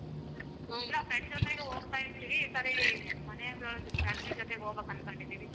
ಇಲ್ಲ friend ಜೊತೆನು ಹೋಗ್ತಾ ಇದ್ವಿ ಈ ಸರಿ ಮನೆವರ್ family ಜೊತೇಗ ಹೋಗ್ಬೇಕು ಅನ್ಕೊಂಡಿದಿವಿ.